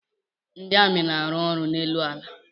Ndị amị na-arụ ọrụ n'elu ala.